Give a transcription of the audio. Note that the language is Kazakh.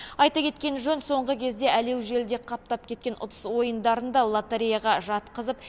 айта кеткен жөн соңғы кезде әлеу желіде қаптап кеткен ұтыс ойындарын да лотереяға жатқызып